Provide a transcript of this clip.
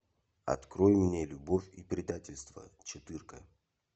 открой мне любовь и предательство четырка